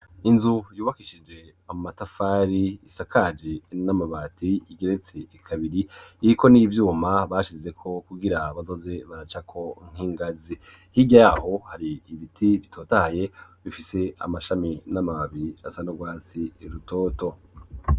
Inzu yubakishije amatafari isakaji n'amabati igeretse kabiri iriko n'ivyuma bashize ko kugira bazoze baracako nk'ingazi, hirya yaho hari ibiti bitotahaye bifise amashami n'amababi asa n'urwatsi rutoto.